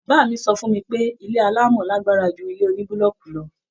Bàbá mi so fún mi pé ilé alamo lágbára ju ilé onibuloku lọ.